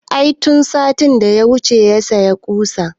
I tun satin da ya wuce ya saya ƙusan